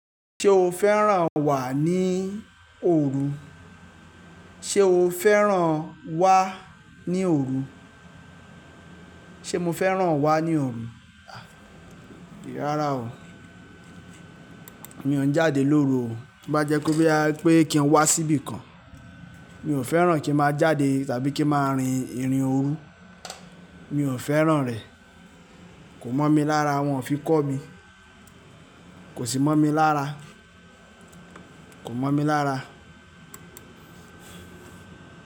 Ṣé o fẹ́ràn wà ní òru? Ṣé o fẹ́ràn wá ní òru? Ṣé mo fẹ́ràn wá ní òru? Rárá o. Mi ò n jáde lóru o. Bá jẹ́ kó gbé ẹ pé kí n wá síbi kan, mi ò fẹ́ràn kí má jáde tàbí kí má rin irin òru. Mi ò fẹ́ràn rẹ̀. Kò mọ̀ mí lára wọn fi kó mi. Kò sì mọ̀ mí lára. Kò mọ̀ mí lára.